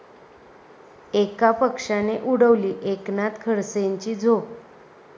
एका पक्षाने उडवली एकनाथ खडसेंची झोप